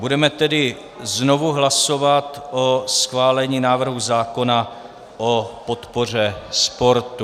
Budeme tedy znovu hlasovat o schválení návrhu zákona o podpoře sportu.